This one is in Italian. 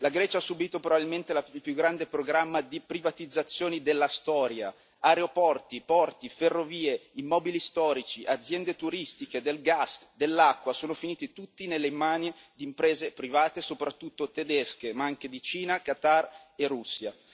La Grecia ha subito probabilmente il più grande programma di privatizzazioni della storia aeroporti, porti, ferrovie, immobili storici, aziende turistiche, del gas e dell'acqua sono finiti tutti nelle mani di imprese private, soprattutto tedesche, ma anche di Cina, Qatar e Russia.